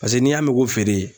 Paseke n'i y'a mɛn ko feere